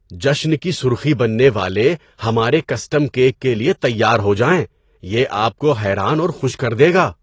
جشن کی سرخی بننے والے ہمارے کسٹم کیک کے لیے تیار ہو جائیں، یہ آپ کو حیران اور خوش کر دے گا۔